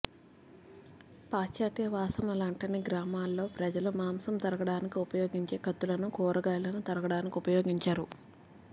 పాశ్చాత్య వాసనలంటని గ్రామాల్లో ప్రజలు మాంసం తరగడానికి ఉపయోగించే కత్తులను కూరగాయలను తరగడానికి ఉపయోగించరు